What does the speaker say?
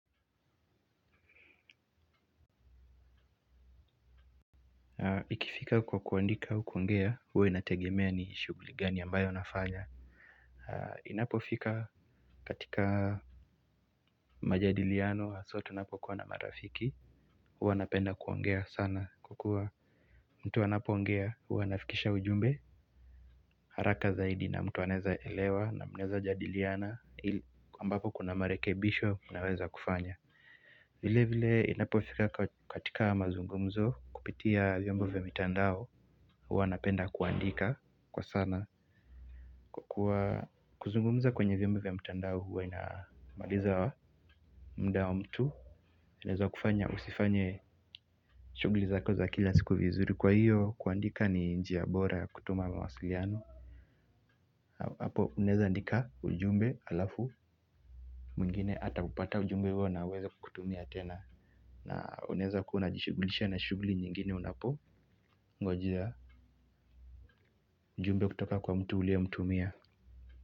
Ikifika kwa kuandika au kwongea, huwa inategemea ni shughuli gani ambayo nafanya. Inapofika katika majadiliano haswaa tunapokuwa na marafiki, huwa napenda kwongea sana kwa kua mtu anapoongea, huwa anafikisha ujumbe, haraka zaidi na mtu anaeza elewa na mneza jadiliana, ambapo kuna marekebisho unaweza kufanya. Vile vile inapofika katika mazungumzo kupitia vyombo vya mitandao huwa napenda kuandika kwa sana. Kwa kuzungumza kwenye vyombo vya mtandao huwa inamaliza mda wa mtu. Neza kufanya usifanye shugli zako za kila siku vizuri kwa hiyo kuandika ni njia bora ya kutuma mawasiliano. Apo uneza andika ujumbe alafu mwingine ataupata ujumbe huo naaweza kutumia tena. Na unaeza kua unajishugulisha na shuguli nyingine unapo Ngojea Jumbe kutoka kwa mtu uliye mtumia.